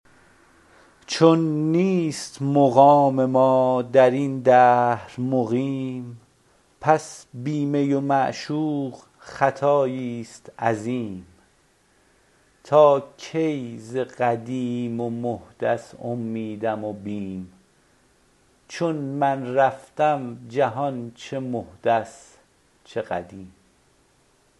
چون نیست مقام ما در این دهر مقیم پس بی می و معشوق خطایی است عظیم تا کی ز قدیم و محدث امیدم و بیم چون من رفتم جهان چه محدث چه قدیم